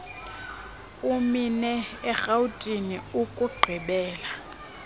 emine erhawutini ukugqibela